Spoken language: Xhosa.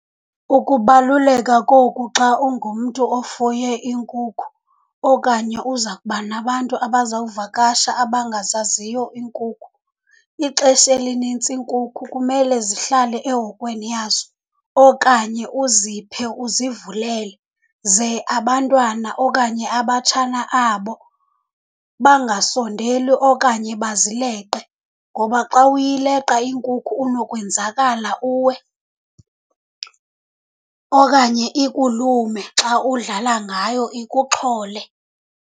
Ukubaluleka koku xa ungumntu ofuye iinkukhu okanye uza kuba nabantu abazawuvakasha abangazaziyo iinkukhu, ixesha elinintsi iinkukhu kumele zihlale ehokweni yazo okanye uziphe, uzivulele ze abantwana okanye abatshana abo bangasondeli okanye bazileqe. Ngoba xa uyileqa inkukhu unokwenzakala uwe okanye ikulume xa udlala ngayo, ikuxhole.